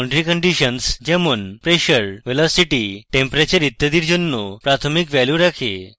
এটি boundary conditions যেমন pressure velocity temperature ইত্যাদির জন্য প্রাথমিক ভ্যালু রাখে